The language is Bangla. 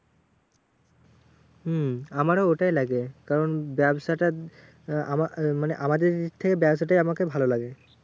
হম আমারও ওটাই লাগে, কারণ ব্যাবসাটা আহ আমার মানে আমাদের থেকে ব্যাবসাটাই আমাকে।